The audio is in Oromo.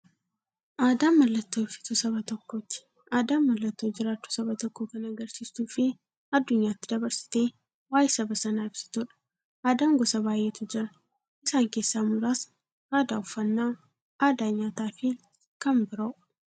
Aadaan mallattoo ibsituu saba tokkooti. Aadaan mallattoo jiraachuu saba tokkoo kan agarsiistufi addunyyaatti dabarsitee waa'ee saba sanaa ibsituudha. Aadaan gosa baay'eetu jira. Isaan keessaa muraasni aadaa, uffannaa aadaa nyaataafi kan biroo.